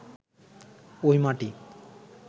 ওই মাটি